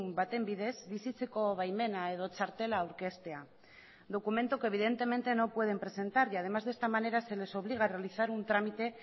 baten bidez bizitzeko baimena edo txartela aurkeztea documento que evidentemente no pueden presentar y además de esta manera se les obliga a realizar un trámite